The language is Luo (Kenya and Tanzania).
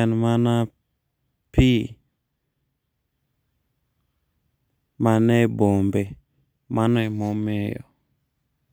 ,en mana pii manie bombe, mano emo miyo